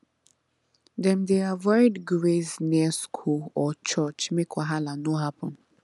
dem dey avoid graze near school or church make wahala no happen